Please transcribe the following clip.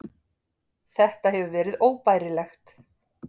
Þetta hefur verið óbærilegt.